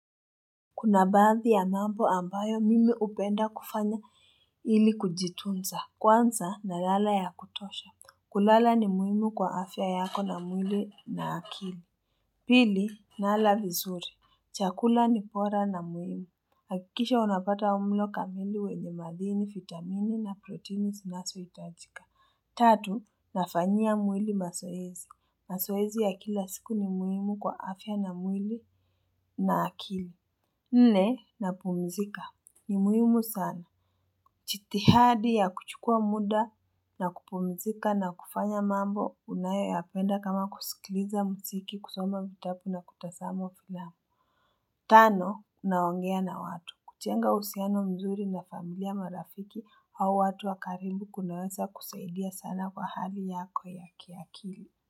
Kuna baadhi ya mambo ambayo mimi hupenda kufanya ili kujitunza. Kwanza na lala ya kutosha. Kulala ni muhimu kwa afya yako na mwili na akili. Pili nala vizuri. Chakula ni bora na muhimu. Hakikisha unapata mlo kamili wenye maadini, vitamini na protini zinazo itajika. Tatu nafanyia mwili mazoezi. Mazoezi ya kila siku ni muhimu kwa afya na mwili na akili. Nne na pumzika ni muhimu sana. Jitihadi ya kuchukua muda na kupumzika na kufanya mambo unayo ya penda kama kusikiliza muziki kusoma vitabu na kutazama filamu. Tano naongea na watu. Kujenga uhusiano mzuri na familia marafiki au watu wakaribu kunaweza kusaidia sana kwa hali yako ya kiakili.